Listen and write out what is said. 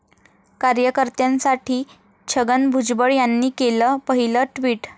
कार्यकर्त्यांसाठी छगन भुजबळ यांनी केलं पहिलं ट्विट